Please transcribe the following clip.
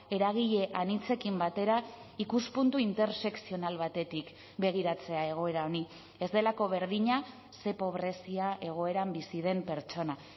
eragile anitzekin batera ikuspuntu intersekzional batetik begiratzea egoera honi ez delako berdina ze pobrezia egoeran bizi den pertsona